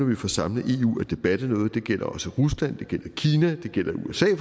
vi får samlet eu at det batter noget det gælder også rusland det gælder kina det gælder usa